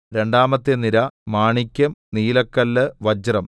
രണ്ടാമത്തെ നിര മാണിക്യം നിലക്കല്ല് വജ്രം